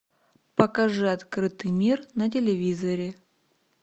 покажи открытый мир на телевизоре